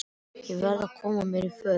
Ég verð að koma mér í föt.